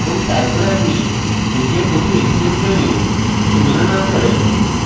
এবং তারপর আপনি নিজের দুটি encrypt ভ্যালু তুলনা না করেন